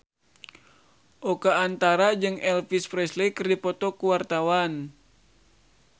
Oka Antara jeung Elvis Presley keur dipoto ku wartawan